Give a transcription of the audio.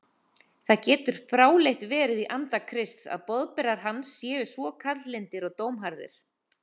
Það getur fráleitt verið í anda Krists að boðberar hans séu svo kaldlyndir og dómharðir.